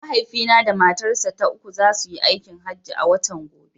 Mahaifina da matarsa ta uku za su yi aikin hajji a watan gobe.